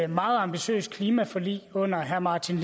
meget ambitiøst klimaforlig under herre martin